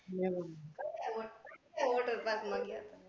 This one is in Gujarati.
હમ water park મા ગયા ત્યા